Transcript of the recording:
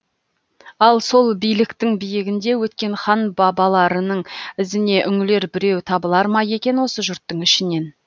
ал сол биліктің биігінде өткен хан бабаларының ізіне үңілер біреу табылар ма екен осы жұрттың ішінен